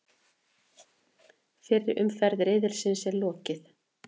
Fyrri umferð riðilsins er lokið